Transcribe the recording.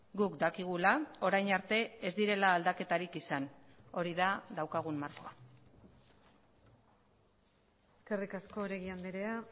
guk dakigula orain arte ez direla aldaketarik izan hori da daukagun markoa eskerrik asko oregi andrea